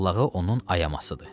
Lağlağı onun ayamasıdır.